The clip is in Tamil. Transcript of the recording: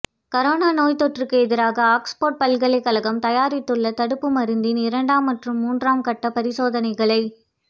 கரோனா நோய்த்தொற்றுக்கு எதிராக ஆக்ஸ்ஃபோா்டு பல்கலைக்கழகம் தயாரித்துள்ள தடுப்பு மருந்தின் இரண்டாம் மற்றும் மூன்றாம் கட்ட பரிசோதனைகளை